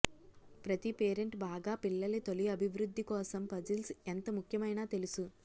ప్రతి పేరెంట్ బాగా పిల్లల తొలి అభివృద్ధి కోసం పజిల్స్ ఎంత ముఖ్యమైన తెలుసు